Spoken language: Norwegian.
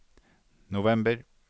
november